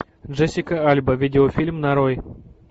джессика альба видеофильм нарой